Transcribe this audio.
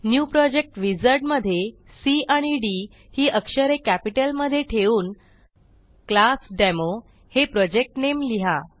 new project wizard मधे C आणि D ही अक्षरे कॅपिटलमधे ठेवून क्लासडेमो हे प्रोजेक्ट नामे लिहा